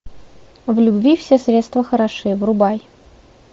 в любви все средства хороши врубай